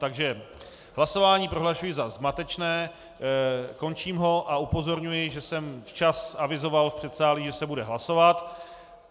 Takže hlasování prohlašuji za zmatečné, končím ho a upozorňuji, že jsem včas avizoval v předsálí, že se bude hlasovat.